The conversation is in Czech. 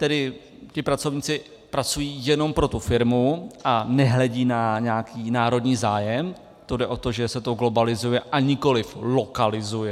Tedy ti pracovníci pracují jenom pro tu firmu a nehledí na nějaký národní zájem, to jde o to, že se to globalizuje a nikoliv lokalizuje.